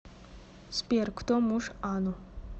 сбер кто муж ану